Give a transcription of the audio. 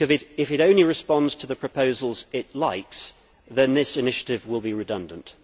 If it only responds to the proposals it likes, then this initiative will be redundant.